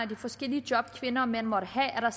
de forskellige job kvinder og mænd måtte have er